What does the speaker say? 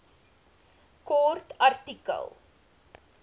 kort artikel